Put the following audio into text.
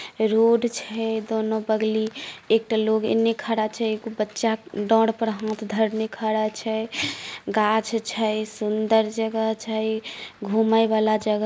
road छै दोनों बगली एकटा लोग एने खड़ा छै एकटा बच्चा डार पर हाथ धरने खड़ा हुआ छै गाछ छै सुन्दर जगह छै घूमे वाला जगह --